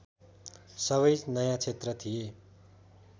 सबै नयाँ क्षेत्र थिए